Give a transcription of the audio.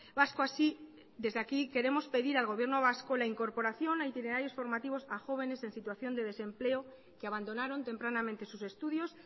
vasco así desde aquí queremos pedir al gobierno vasco la incorporación a itinerarios formativos a jóvenes en situación de desempleo que abandonaron tempranamente sus estudios